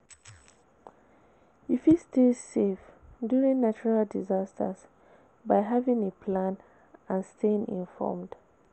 You fit stay safe during natural disasters by having a plan and staying informed?